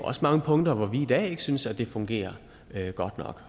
også mange punkter hvor vi i dag ikke synes at det fungerer godt nok